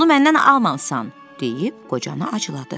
Bunu məndən almamısan!" deyib qocanı acıladı.